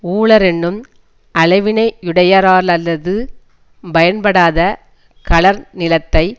உளரென்னும் அளவினையுடையாரல்லது பயன்படாத களர் நிலத்தை